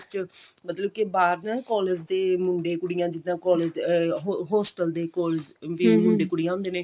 ਚ ਮਤਲਬ ਬਾਹਰ ਨਾ collage ਦੇ ਮੁੰਡੇ ਕੁੜੀਆਂ ਜਿੱਦਾਂ collage ਅਹ hostel ਦੇ ਕੋਲ ਜਿਵੇਂ ਮੁੰਡੇ ਕੁੜੀਆਂ ਹੁੰਦੇ ਨੇ